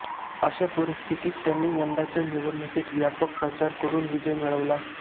अशा परिस्थितीत त्यांनी यंदाच्या निवडणुकीत व्यापक प्रचार करून विजय मिळविला